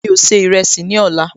Mi ò se ìrẹsì ní ọ̀la